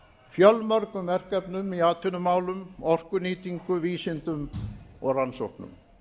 fjölmörgum verkefnum í atvinnumálum orkunýtingu vísindum og rannsóknum